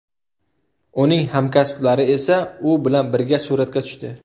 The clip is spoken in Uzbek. Uning hamkasblari esa u bilan birga suratga tushdi.